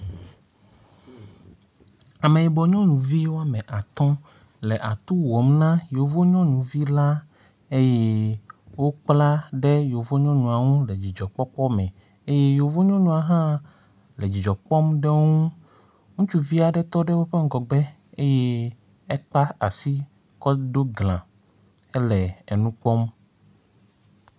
Ameyibɔ nyɔnuvi woame atɔ̃ le atu wɔm na yevu nyɔnuvi la eye wokpla ɖe yevu nyɔnua ŋu le dzidzɔkpɔkpɔ me, ye yevu nyɔnua hã le dzidzɔ kpɔm ɖe wo ŋu.